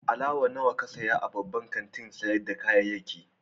Alawar nawa ka saya a babban kantin sayar da kayayyaki?